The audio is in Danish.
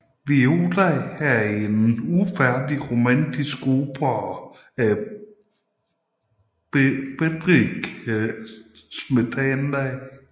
Viola er en ufærdig romantisk opera af Bedřich Smetana